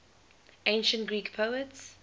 ancient greek poets